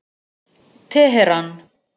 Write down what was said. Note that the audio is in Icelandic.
Teheran